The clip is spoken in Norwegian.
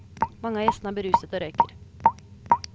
Mange av gjestene er beruset og røyker.